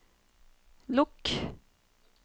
lukk